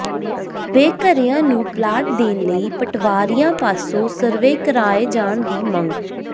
ਬੇਘਰਿਆਂ ਨੂੰ ਪਲਾਟ ਦੇਣ ਲਈ ਪਟਵਾਰੀਆਂ ਪਾਸੋਂ ਸਰਵੇਅ ਕਰਵਾਏ ਜਾਣ ਦੀ ਮੰਗ